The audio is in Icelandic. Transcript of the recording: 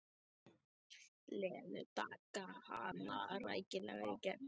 Lenu, taka hana rækilega í gegn.